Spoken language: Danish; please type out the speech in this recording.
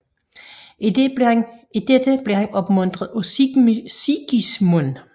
I dette blev han opmuntret af Sigismund